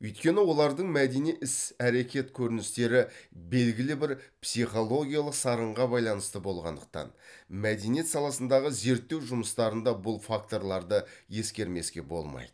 өйткені олардың мәдени іс әрекет көріністері белгілі бір психологиялық сарынға байланысты болғандықтан мәдениет саласындағы зерттеу жүмыстарында бұл факторларды ескермеске болмайды